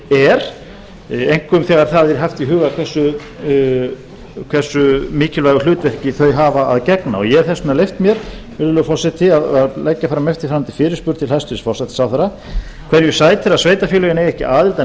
er einkum þegar það er haft í huga hversu mikilvægu hlutverki þau hafa að gegna ég hef þess vegna leyft mér virðulegur forseti að leggja fram eftirfarandi fyrirspurn til hæstvirts forsætisráðherra hverju sætir að sveitarfélögin eiga ekki aðild að